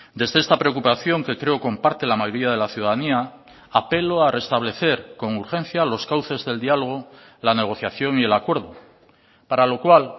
desde esta preocupación que creo comparte la mayoría de la ciudadanía apelo a restablecer con urgencia los cauces del diálogo la negociación y el acuerdo para lo cual